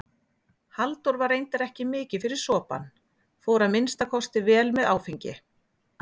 Halldór var reyndar ekki mikið fyrir sopann, fór að minnsta kosti vel með áfengi.